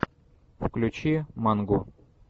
включи мангу